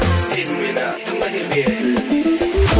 сезін мені тыңда бері кел